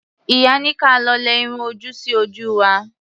Ìyá ní ka lọ lẹ irun ojú sí ojú wa.